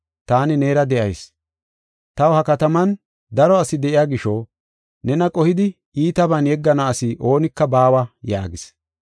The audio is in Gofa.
Taani neera de7ayis. Taw ha kataman daro asi de7iya gisho nena qohidi iitaban yeggana asi oonika baawa” yaagis.